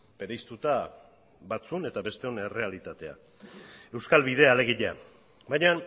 bereiztuta batzuen eta besteon errealitatea euskal bidea alegia baina